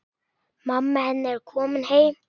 Mamma hennar er komin heim.